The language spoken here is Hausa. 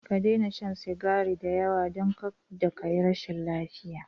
Ka daina shan sukari da yawa, don kada ka yi rashin lafiya!